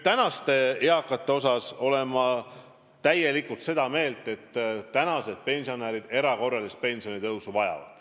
Ma olen täielikult seda meelt, et praegused pensionärid vajavad erakorralist pensionitõusu.